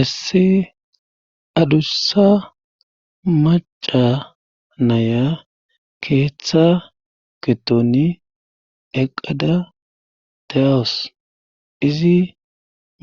isse adussa maca naya keeththa giddoni eqada de'awus izi